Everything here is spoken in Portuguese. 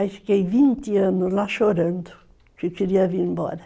Aí fiquei vinte anos lá chorando, que eu queria vir embora.